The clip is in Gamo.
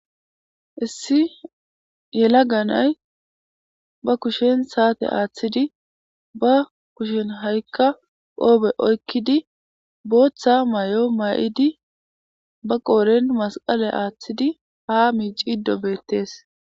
issi yela nanay ba kushen saate aaththidi ba kushen ha7ikka qoobe oykkidi booththa may7o may7idi ba qooren masqale aaththidi ha miici ido beettees